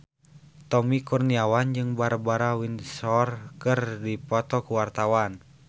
Tommy Kurniawan jeung Barbara Windsor keur dipoto ku wartawan